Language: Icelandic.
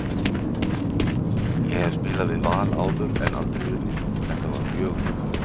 Ég hef spilað við Val áður en aldrei unnið, þetta var mjög ljúft.